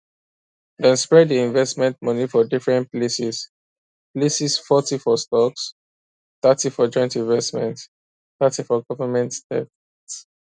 dem spread di investment money for different places places forty for stocks thirty for joint investments thirty for government debt